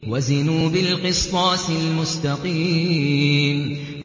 وَزِنُوا بِالْقِسْطَاسِ الْمُسْتَقِيمِ